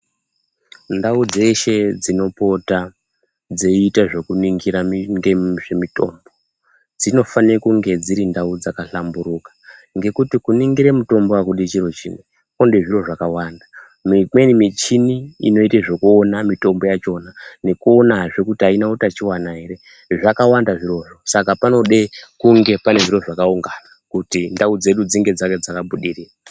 Ndau dzehse dzinopota dzeiita ngezvekuningira mutombo dzinofane ngekuti kuningire mutombo akudi chiro chimwe kunode zviri zvakawanda, imweni michini inoite zvekuona mitombo yachona nekuonazve kuti aina utachiwana ere zvakawanda zvirozvo saka panoda kunge pane zviro zvakaungana